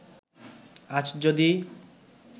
আজ যদি